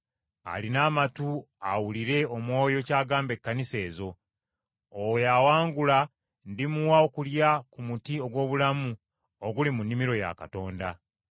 Alina amatu, awulire Omwoyo ky’agamba Ekkanisa ezo. Oyo awangula ndimuwa okulya ku muti ogw’obulamu oguli mu nnimiro ya Katonda.